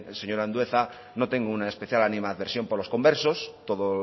señor andueza no tengo una especial animadversión por los conversos todo